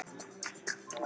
Spila ég á miðjunni aftur?